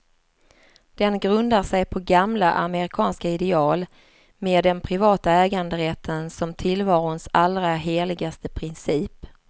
Den grundar sig på gamla amerikanska ideal, med den privata äganderätten som tillvarons allra heligaste princip.